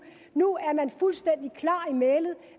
nu er